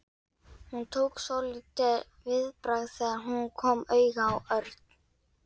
Hún tók svolítið viðbragð þegar hún kom auga á Örn.